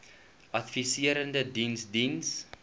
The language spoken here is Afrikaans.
adviserende diens diens